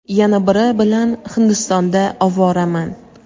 yana biri bilan Hindistonda ovoraman.